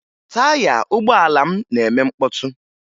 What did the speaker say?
Taya ụgbọala m na-eme mkpọtụ